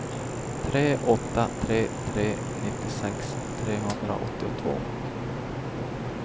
tre åtta tre tre nittiosex trehundraåttiotvå